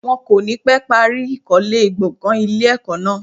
Wọ́n kò ní pẹ́ parí ìkólé gbọ̀gàn ilé ẹ̀kọ́ náà.